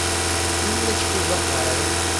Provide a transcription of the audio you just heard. инночкой захаровой